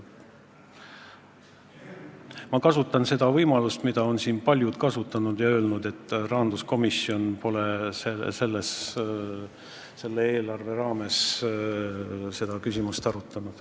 Ma kasutan seda võimalust, mida on siin paljud kasutanud, ja ütlen, et rahanduskomisjon pole selle eelarve raames seda küsimust arutanud.